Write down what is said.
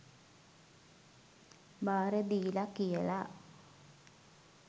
බාර දීල කියල.